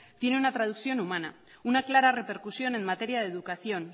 tiene una traducción humana una clara repercusión en materia de educación